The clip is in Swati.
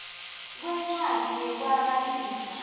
kwencwadzi yekwaba lifa